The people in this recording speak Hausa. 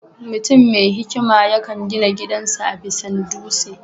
Mutuam mai hikima yakan gina gidan sa a bisan dutse